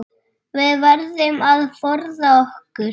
Við verðum að forða okkur.